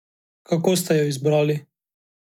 Kako ste jo izbrali?